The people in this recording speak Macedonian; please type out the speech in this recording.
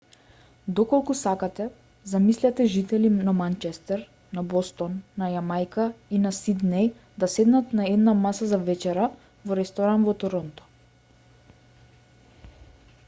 доколку сакате замислете жители на манчестер на бостон на јамајка и на сиднеј да седнат на една маса за вечера во ресторан во торонто